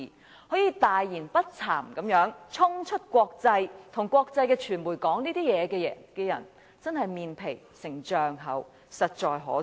他竟可大言不慚地衝出國際，向國際傳媒說出這番話，這種人真的是"面皮成丈厚"，實在可耻。